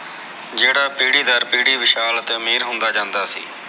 ਜਿਹੜਾ ਪੀੜੀ ਦਰ ਪੀੜੀ ਵਿਸ਼ਾਲ ਅਤੇ ਮੇਹਰ ਹੁੰਦਾ ਜਾਂਦਾ ਸੀ